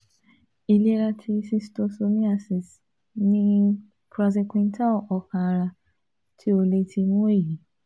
Ilera ti schistosomiasis ni Praziquintal ọkan-ara ti o le ti mu eyi